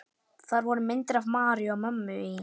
Þar voru myndir af Maríu og mömmu í